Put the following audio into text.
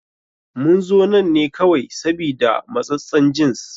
Mun zo nan ne kawai sabida matsassen jins.